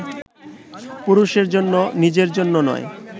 পুরুষের জন্য, নিজের জন্য নয়